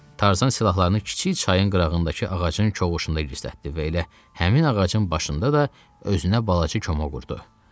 Tarzan silahlarını kiçik çayın qırağındakı ağacın kovuqunda gizlətdi və elə həmin ağacın başında da özünə balaca koma qurdu.